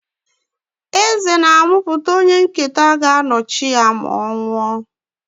Eze na-amụpụta onye nketa ga-anọchi ya ma ọ nwụọ.